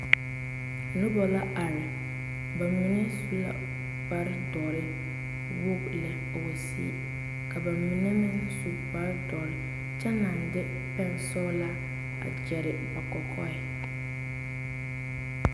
Noba la are, bamine su la kpare dɔre wogi lɛ wa siŋe, ka bamine meŋ su kpare dɔre kyɛ naŋ de pɛge sɔglaa a kyɛre ba kɔkɔɛ.